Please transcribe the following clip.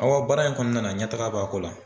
Awɔ baara in kɔnɔna na ɲɛtaga b'a ko la.